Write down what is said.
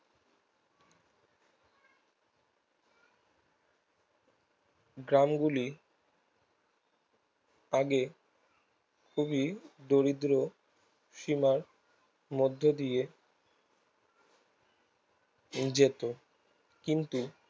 গ্রাম গুলি আগে খুবই দরিদ্র সীমার মধ্যে দিয়ে যেত কিন্তু